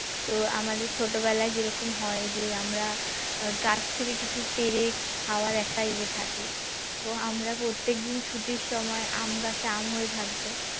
তো আমাদের ছোটবেলায় যেরকম হয় যে আমরা গাছ থেকে কিছু পেরে খাওয়ার একটা ইয়ে থাকে তো আমরা প্রত্যেকদিন ছুটির সময় আম গাছে আম হয়ে থাকতো